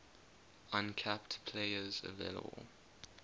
uncapped players available